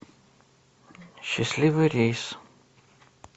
счастливый рейс